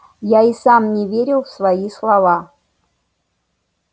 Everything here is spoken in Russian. я и сам не верил в свои слова